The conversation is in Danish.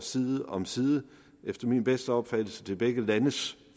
side om side efter min bedste opfattelse til begge landes